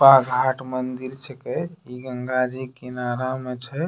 पा घाट मंदिर छकै इ गंगा जी किनारा म छे।